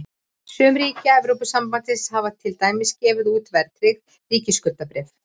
Sum ríkja Evrópusambandsins hafa til dæmis gefið út verðtryggð ríkisskuldabréf.